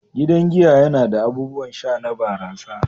Gidan giya yana da abubuwan sha na barasa.